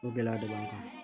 O gɛlɛya de b'an kan